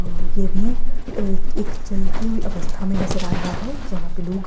ये भी एक चलती हुई अवस्था में नजर आ रहा है जहाँ पे लोग--